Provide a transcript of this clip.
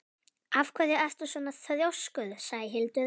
Af hverju ertu svona þrjóskur, Sæhildur?